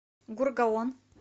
гургаон